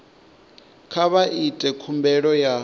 kha vha ite khumbelo ya